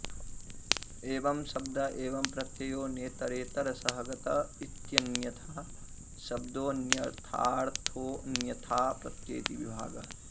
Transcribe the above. एवं शब्द एवं प्रत्ययो नेतरेतरसहगत इत्यन्यथा शब्दोऽन्यथार्थोऽन्यथा प्रत्यय इति विभागः